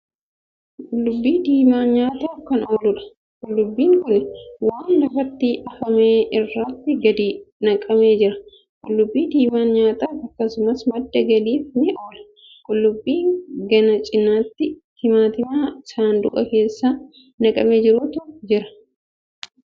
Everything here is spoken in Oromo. Qullubbii diimaa nyaataaf kan ooludha. qullubbiin Kuni waan lafatti afame irratti gadi naqamee jira. qullubbii diimaaan nyaataaf akkasumas madda galiif ni oola. qullubbii gana cinaatti timaatima saanduqa keessatti naqamee jirutu jira. iddaan Kuni Iddoo gurgurtaati.